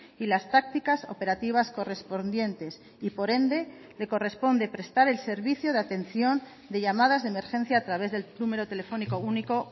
y las tácticas operativas correspondientes y por ende le corresponde prestar el servicio de atención de llamadas de emergencia a través del número telefónico único